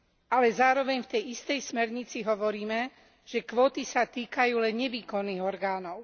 Ale zároveň v tej istej smernici hovoríme, že kvóty sa týkajú len nevýkonných orgánov.